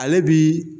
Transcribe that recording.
Ale bi